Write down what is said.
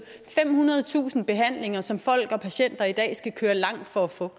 femhundredetusind behandlinger som folk og patienter i dag skal køre langt for at få